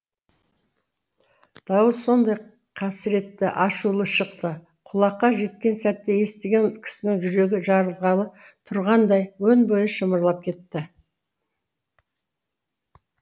дауыс сондай қасіретті ашулы шықты құлаққа жеткен сәтте естіген кісінің жүрегі жарылғалы тұрғандай өн бойы шымырлап кетті